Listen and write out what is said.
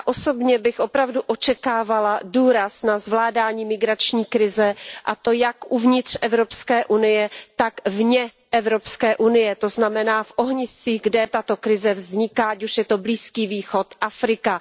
Já osobně bych opravdu očekávala důraz na zvládání migrační krize, a to jak uvnitř Evropské unie, tak vně Evropské unie, to znamená v ohniscích, kde tato krize vzniká, ať už je to Blízký východ, Afrika.